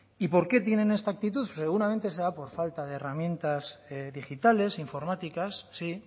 y por qué tienen esta actitud pues seguramente será por falta de herramientas digitales informáticas sí